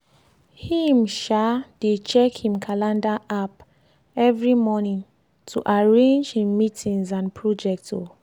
him um dey check him calender app every morning to arrange him meetings and project. um